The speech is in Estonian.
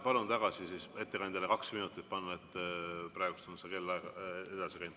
Palun siis ettekandjale kaks minutit tagasi panna, praegu on see kellaaeg edasi läinud.